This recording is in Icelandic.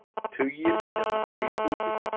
Tugir milljóna séu í húfi.